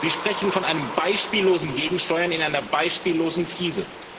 Sie sprechen von einem beispiellosen Gegensteuern in einer beispiellosen Krise.